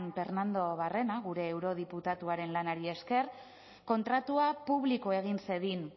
pernando barrena gure eurodiputatuaren lanari esker kontratua publiko egin zedin